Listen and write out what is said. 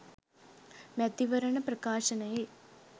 මැතිවරණ ප්‍රකාශනයේ